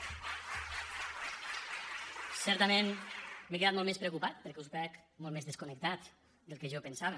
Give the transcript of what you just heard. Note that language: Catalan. certament m’he quedat molt més preocupat perquè us veig molt més desconnectats del que jo pensava